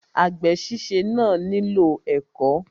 Àgbè síse náà nílò ẹ̀kọ́.